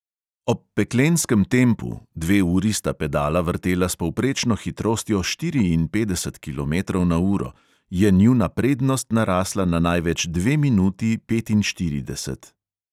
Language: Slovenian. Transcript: Ob peklenskem tempu – dve uri sta pedala vrtela s povprečno hitrostjo štiriinpetdeset kilometrov na uro – je njuna prednost narasla na največ dve minuti petinštirideset.